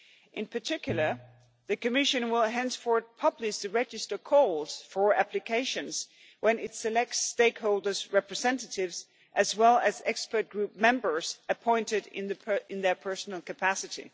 In particular, the Commission will henceforth publish the register calls for applications when it selects stakeholders' representatives as well as expert group members appointed in their personal capacity.